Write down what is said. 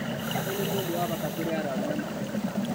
Ũyũ nĩ mũndũ wa bata kũrĩ arũaru na mandagĩtarĩ